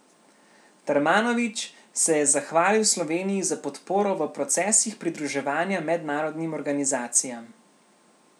Darmanović se je zahvalil Sloveniji za podporo v procesih pridruževanja mednarodnim organizacijam.